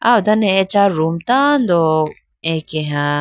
aw done acha room tando akeha.